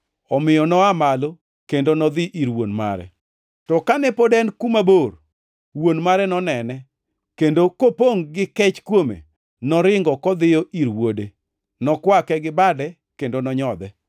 Omiyo noa malo kendo nodhi ir wuon mare. “To kane pod en kuma bor, wuon mare nonene, kendo kopongʼ gi kech kuome, noringo kodhiyo ir wuode, nokwake gi bade kendo nonyodhe.